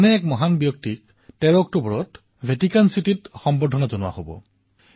এনে এক মহান বিভূতিক ১৩ অক্টোবৰ তাৰিখে ভেটিকান চিটীত সন্মানিত কৰা হব